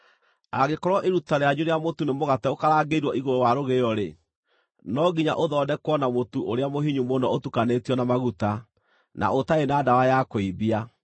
Angĩkorwo iruta rĩanyu rĩa mũtu nĩ mũgate ũkarangĩirwo igũrũ wa rũgĩo-rĩ, no nginya ũthondekwo na mũtu ũrĩa mũhinyu mũno ũtukanĩtio na maguta, na ũtarĩ na ndawa ya kũimbia.